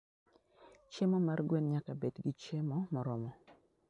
Chiemo mar gwen nyaka bed gi chiemo moromo.